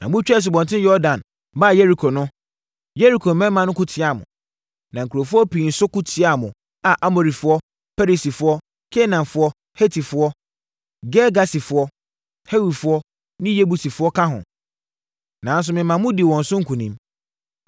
“Na motwaa Asubɔnten Yordan baa Yeriko no, Yeriko mmarima ko tiaa mo. Na nkurɔfoɔ pii nso ko tiaa mo a Amorifoɔ, Perisifoɔ, Kanaanfoɔ, Hetifoɔ, Girgasifoɔ, Hewifoɔ ne Yebusifoɔ ka ho. Nanso, mema modii wɔn so nkonim.